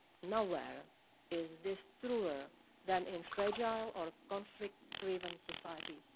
Nowhere is this truer than in fragile or conflict-riven societies.